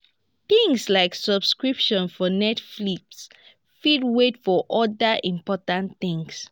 things like subscription for netflix fit wait for oda important things